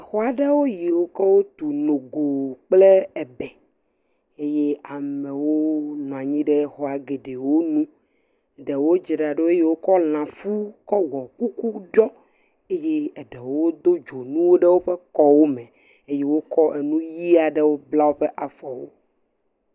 Xɔ aɖe yiwo ke wotu nogo kple ebe eye amewo nɔ anyi ɖe xɔa geɖewo nu. Ɖewo dzra ɖo eye wokɔ lã kuku ɖɔ eye eɖewo kɔ dzonuwo kɔ de woƒe kɔ wòme eye wokɔ enu ɣi aɖe kɔ kpla wòa fɔ wò.